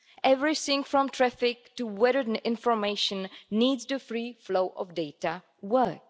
Everything from traffic to weather information needs the free flow of data to work.